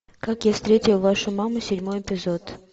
как я встретил вашу маму седьмой эпизод